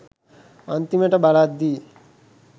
අන්තිමට බලද්දි